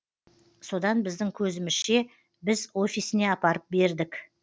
содан біздің көзімізше біз офисіне апарып бердік